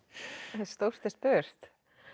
stórt er spurt